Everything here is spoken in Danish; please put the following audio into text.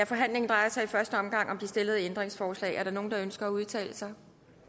forhandlingen drejer sig i første omgang om de stillede ændringsforslag er der nogen der ønsker at udtale sig